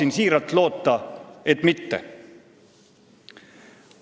Ma väga loodan, et mitte.